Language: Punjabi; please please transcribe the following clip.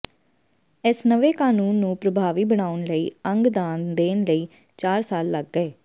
ਇਸ ਨਵੇਂ ਕਾਨੂੰਨ ਨੂੰ ਪ੍ਰਭਾਵੀ ਬਣਾਉਣ ਲਈ ਅੰਗ ਦਾਨ ਦੇਣ ਲਈ ਚਾਰ ਸਾਲ ਲੱਗ ਗਏ